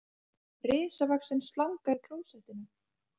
Risavaxin slanga í klósettinu